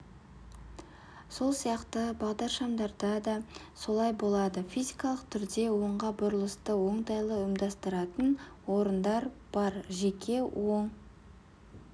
сол сияқты бағдаршамдарда да солай болады физикалық түрде оңға бұрылысты оңтайлы ұйымдастыратын орындар бар жеке оң